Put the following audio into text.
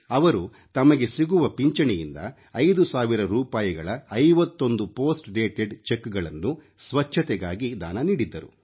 ಅವರು ತಮಗೆ ಸಿಗುವ ಪಿಂಚಣಿಯಿಂದ 5 ಸಾವಿರ ರೂಪಾಯಿಗಳ 51 ಪೋಸ್ಟ್ ಡೇಟೆಡ್ ಚೆಕ್ಗಳನ್ನು ಸ್ವಚ್ಛತೆಗಾಗಿ ದಾನ ನೀಡಿದ್ದರು